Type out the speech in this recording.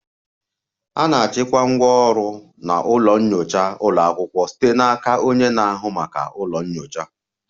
A na-achịkwa ngwá ọrụ na ụlọ nyocha ụlọ akwụkwọ site n'aka onye na-ahụ maka ụlọ nyocha